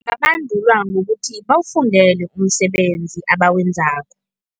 Ngokuthi bawufundele umsebenzi abawenzako.